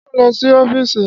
Ṣé ò ń lọ sí ọ́fíìsì?